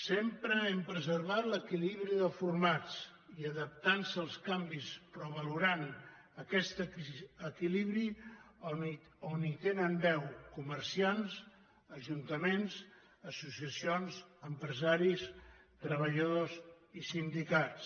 sempre hem preservat l’equilibri de formats i adaptant se als canvis però valorant aquest equilibri on tenen veu comerciants ajuntaments associacions empresaris treballadors i sindicats